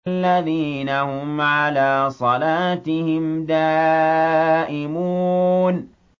الَّذِينَ هُمْ عَلَىٰ صَلَاتِهِمْ دَائِمُونَ